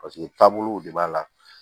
Paseke taabolow de b'a la